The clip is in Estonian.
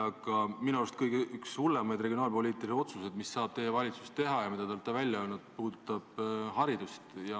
Aga minu arust üks kõige hullemaid regionaalpoliitilisi otsuseid, mis saab teie valitsus teha ja mida te olete välja öelnud, puudutab haridust.